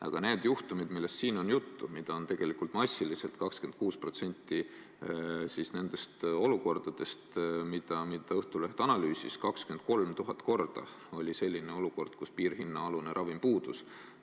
Aga need juhtumid, millest siin on juttu ja mida on tegelikult massiliselt, 26% nendest olukordadest, mida Õhtuleht analüüsis, on need, et 23 000 korda oli selline olukord, kus piirhinnaalune ravim puudus.